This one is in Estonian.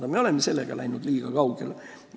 Aga me oleme sellega liiga kaugele läinud.